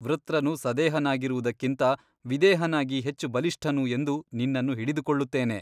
ವೃತ್ರನು ಸದೇಹನಾಗಿರುವುದಕ್ಕಿಂತ ವಿದೇಹನಾಗಿ ಹೆಚ್ಚು ಬಲಿಷ್ಠನು ಎಂದು ನಿನ್ನನ್ನು ಹಿಡಿದುಕೊಳ್ಳುತ್ತೇನೆ.